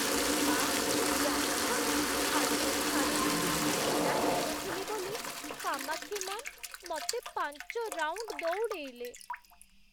ମା', ଜାଣିଛ, ଆଜି ମୁଁ ଧାଡ଼ିରେ ଠିକ୍‌ରେ ଛିଡ଼ା ହେଇନଥିଲି ବୋଲି କାମାକ୍ଷୀ ମ୍ୟା'ମ୍ ମତେ ପାଞ୍ଚ ରାଉଣ୍ଡ୍ ଦଉଡ଼େଇଲେ!